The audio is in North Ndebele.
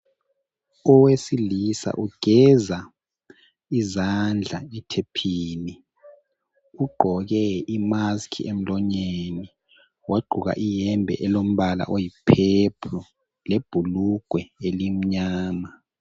Owesilisa ugeza izandla ethephini. Ugqoke imaski emlonyeni wagqoka ihembe elombala oyi purple lebhulugwe elimnyama.